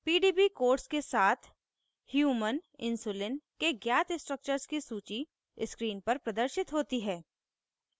pdb codes के साथ human human insulin के ज्ञात structures की सूची screen पर प्रदर्शित होती है